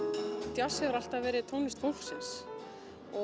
djass hefur alltaf verið tónlist fólksins og